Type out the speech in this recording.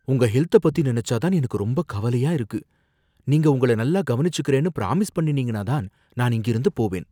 உங்க ஹெல்த்த பத்தி நினைச்சா தான் எனக்கு ரொம்ப கவலையா இருக்கு, நீங்க உங்கள நல்லா கவனிச்சுகறேன்னு ப்ராமிஸ் பண்ணினீங்கன்னா தான் நான் இங்கிருந்து போவேன்.